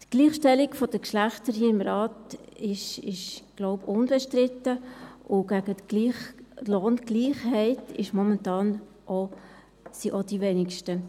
Die Gleichstellung der Geschlechter ist hier im Rat unbestritten, denke ich, und gegen die Lohngleichheit sind momentan auch die Wenigsten.